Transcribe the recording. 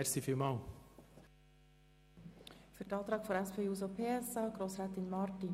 Zur Begründung der Planungserklärung seitens der SP-JUSO-PSA-Fraktion spricht Grossrätin Marti.